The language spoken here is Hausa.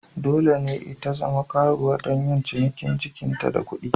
Dole ne ita zama karuwa don yin cinikin da jikinta don kuɗi.